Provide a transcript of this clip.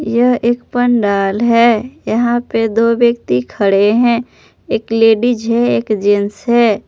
यह एक पंडाल है यहां पे दो व्यक्ति खड़े हैं एक लेडीज हैं एक जेंट्स है।